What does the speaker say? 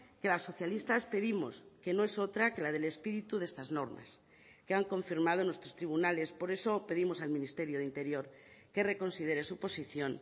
que las socialistas pedimos que no es otra que la del espíritu de estas normas que han confirmado nuestros tribunales por eso pedimos al ministerio de interior que reconsidere su posición